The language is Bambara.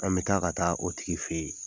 An bɛ taa ka taa o tigi fɛ yen